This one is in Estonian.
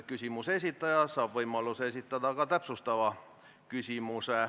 Küsimuse esitaja saab võimaluse esitada ka täpsustav küsimus.